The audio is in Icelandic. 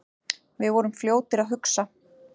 Við vorum fljótir að hugsa.